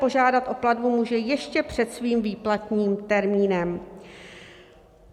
Požádat o platbu může ještě před svým výplatním termínem.